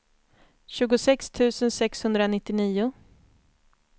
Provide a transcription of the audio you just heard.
tjugosex tusen sexhundranittionio